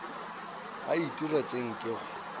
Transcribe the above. be a itira tše nkego